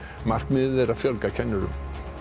markmiðið er að fjölga kennurum